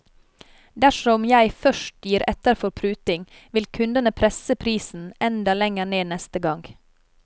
Dersom jeg først gir etter for pruting, vil kundene presse prisen enda lenger ned neste gang.